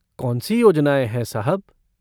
कौन सी योजनाएँ हैं, साहब?